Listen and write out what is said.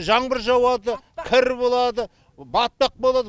жаңбыр жауады кір болады батпақ болады